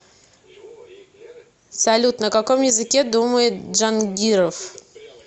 салют на каком языке думает джангиров